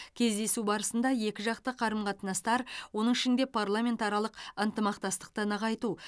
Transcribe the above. кездесу барысында екіжақты қарым қатынастар оның ішінде парламентаралық ынтымақтастықты нығайту